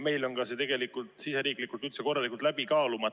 Meil on see ka siseriiklikult korralikult läbi kaalumata.